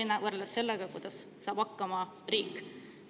– võrreldes sellega, kuidas saab hakkama riik.